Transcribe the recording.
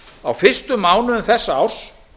á fyrstu mánuðum þessa árs